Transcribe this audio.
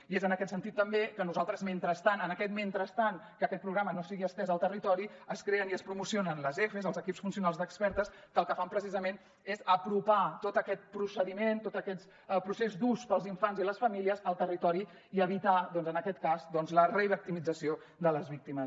i és en aquest sentit també que nosaltres mentrestant en aquest mentrestant que aquest programa no sigui estès al territori es creen i es promocionen els efes els equips funcionals d’expertes que el que fan precisament és apropar tot aquest procediment tot aquest procés dur per als infants i les famílies al territori i evitar doncs en aquest cas la revictimització de les víctimes